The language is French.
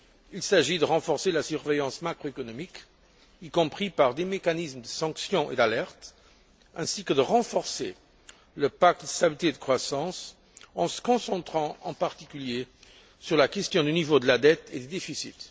Il s'agit de renforcer la surveillance macroéconomique, y compris par des mécanismes de sanction et d'alerte, ainsi que le pacte de stabilité et de croissance en se concentrant, en particulier, sur la question du niveau de la dette et des déficits.